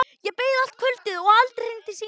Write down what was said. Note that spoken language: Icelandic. Ég beið allt kvöldið og aldrei hringdi síminn.